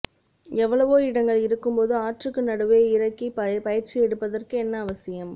எவ்வளவோ இடங்கள் இருக்கும்போது ஆற்றுக்கு நடுவே இறக்கி பயிற்சி எடுப்பதற்கு என்ன அவசியம்